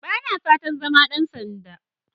Ba na fatan zama ɗan sanda.